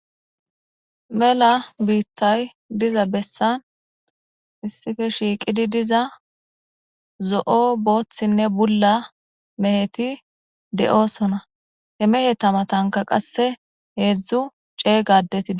Mela biittay diza bessan issife shiiqidi diza zo'o booththinne bulla meheti de'osona he mehe tamatanka qasse heedzdzu ceeygadetia.